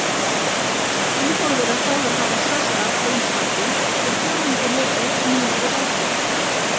Ingólfur er sagður hafa sest að á Íslandi er fjórðungur lifði níundu aldar.